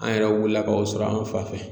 An yɛrɛ wulila k'o sɔrɔ an fan fɛ.